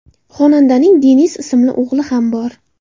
Xonandaning Deniz ismli o‘g‘li ham bor.